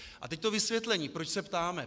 A teď to vysvětlení, proč se ptáme.